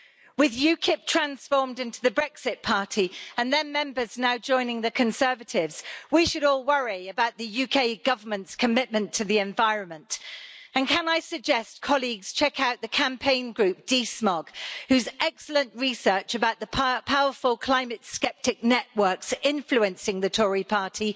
With UKIP transformed into the Brexit Party, and their members now joining the Conservatives, we should all worry about the UK Government's commitment to the environment. And can I suggest colleagues check out the campaign group DeSmog, whose excellent research about the powerful climate sceptic networks influencing the Tory party